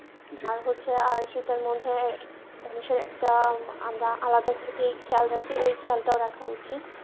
আর হচ্ছে আর সেটার মধ্যে মানুষের একটা আলাদা খেয়াল থাকে ওই খেয়াল টাও রাখা উচিৎ।